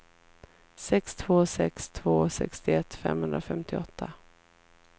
sex två sex två sextioett femhundrafemtioåtta